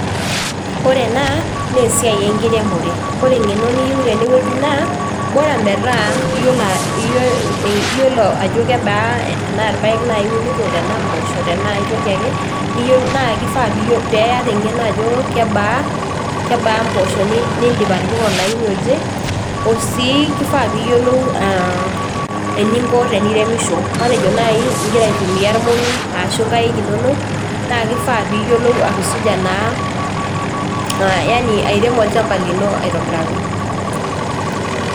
Ore ena naa esiai enkiremore ore eng'eno niyieu tene wueji naa bora metaa iyiolo ajo kebaa tenaa irpayek naaji iunito tenaa imposho tenaa aetoki ake niyio naa kifaa piyio peyata eng'eno ajo kebaa, kebaa imposho nindim atipika olaini oje osii kifaa piyiolou uh eninko teniremisho matejo naaji ingira aitumia irmong'i ashu inkaik inonok naa kifaa niyiolou atusuja naa yani airemo olchamba lino aetobiraki.